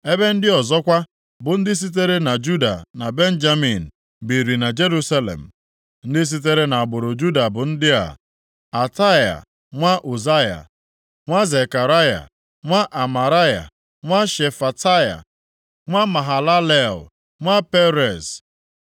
Ebe ndị ọzọkwa bụ ndị sitere na Juda na Benjamin, biiri na Jerusalem). Ndị sitere nʼagbụrụ Juda bụ ndị a: Ataia nwa Uzaya, nwa Zekaraya, nwa Amaraya, nwa Shefataya, nwa Mahalalel, nwa Perez;